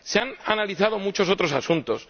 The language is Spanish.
Se han analizado muchos otros asuntos.